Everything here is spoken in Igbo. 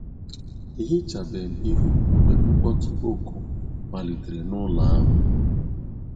Ehichabem ihu m mgbe mkpọtụ ọkụ malitere n'ụlọ ahụ